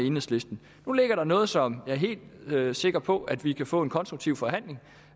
enhedslisten nu ligger der noget som jeg er helt sikker på at vi kan få en konstruktiv forhandling